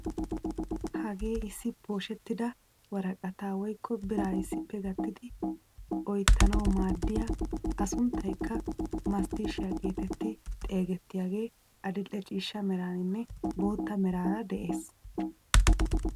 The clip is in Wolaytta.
Hagee issi pooshshetida woraqataa woykko biraa issippe gattidi oyttanawu maaddiyaa a sunttaykka masttiisihiyaa getetti xeegettiyaagee adil'e ciishsha meraninne bootta meraara de'ees!